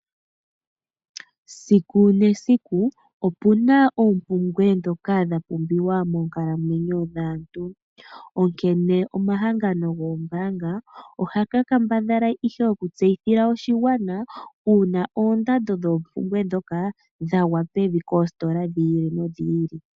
Esiku nesiku opuna oompumbwe ndhoka dha pumbiwa moonkalamwenyo dhaantu. Onkene omahangano goombaanga, ohaga kambadhala ihe okutseyithila oshigwana, uuna oondando dhoompumbwe ndhoka dhagwa pevi koositola dhi ili nodhi ili.